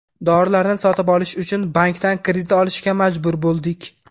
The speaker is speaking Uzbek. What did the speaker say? Dorilarni sotib olish uchun bankdan kredit olishga majbur bo‘ldik.